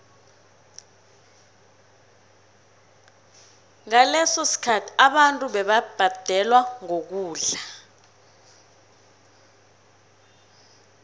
ngaleso sikhathi abantu bebabhadelwa ngokudla